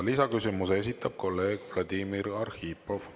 Lisaküsimuse esitab kolleeg Vladimir Arhipov.